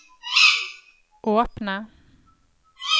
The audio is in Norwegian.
åpne